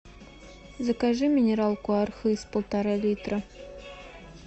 закажи минералку архыз полтора литра